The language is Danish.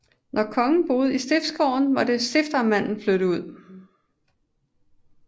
Når kongen boede i Stiftsgården måtte stiftamtmanden flytte ud